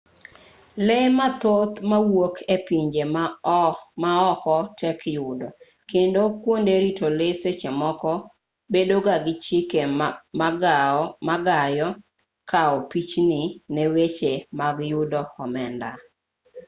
lee mathoth mawuok e pinje maoko tek yudo kendo kuonde rito lee seche moko bedo ga gi chike ma gayo kao pichni ne weche mag yudo omenda